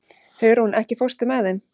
Hugrún, ekki fórstu með þeim?